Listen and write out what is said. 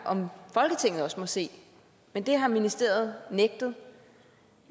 om folketinget også må se men det har ministeriet nægtet